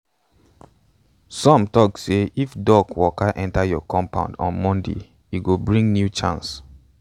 some um tok say if duck waka enter your compound on monday e go bring um new chance.